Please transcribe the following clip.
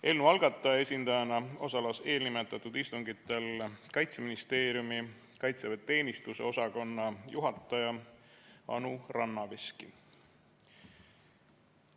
Eelnõu algataja esindajana osales eelnimetatud istungitel Kaitseministeeriumi kaitseväeteenistuse osakonna juhataja Anu Rannaveski.